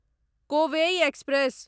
Kovai express